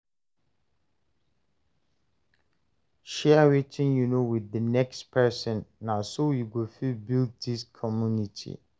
Share wetin you know with the next person; na so we go fit build dis community.